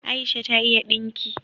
Aisha ta iya dinki